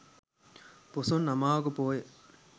පොසොන් අමාවක පෝය